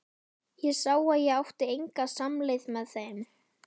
Ég sá að ég átti enga samleið með þeim.